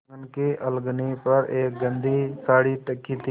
आँगन की अलगनी पर एक गंदी साड़ी टंगी थी